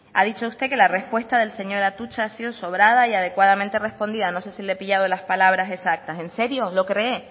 ha dicho usted que la respuesta del señor atutxa ha sido sobrada y adecuadamente respondida no sé si le he pillado las palabras exactas en serio lo cree